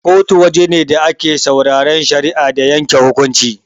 Kotu waje ne da ake sauraran shari'a da yanke hukunci.